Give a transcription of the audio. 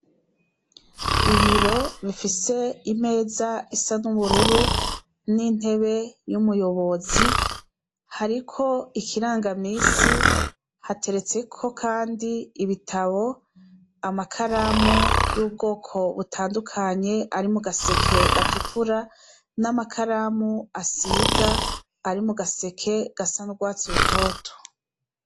Ibiro bifise imeza isa nubururu nintebe yumuyobozi hariko ikiranga minsi hateretseko kandi ibitabo amakaramu yubwoko butandukanye arimugaseke gatukura namakaramu asiga ari mugaseke gasa nurwatsi rutoto